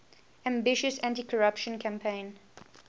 ambitious anticorruption campaign